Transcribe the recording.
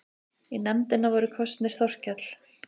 Í nefndina voru kosnir Þorkell